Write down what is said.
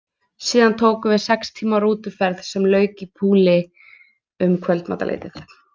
Síðan tók við sex tíma rútuferð sem lauk í Poole um kvöldmatarleytið.